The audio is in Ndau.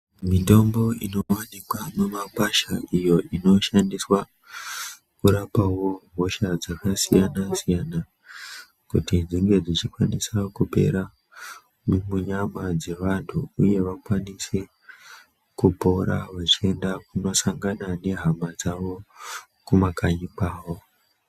Mitombo inovanikwa mumakwasha iyo inoshandiswa kurapavo hosha dzakasiyana-siyana. Kuti dzinge dzichikwanisa kupera munyama dzevantu, uye vakwanise kupora vechienda kunosangana nehama dzavo kumakanyi kwavo.